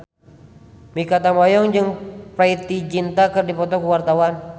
Mikha Tambayong jeung Preity Zinta keur dipoto ku wartawan